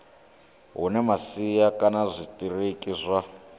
hune masia kana zwitiriki zwa